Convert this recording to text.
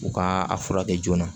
U ka a furakɛ joona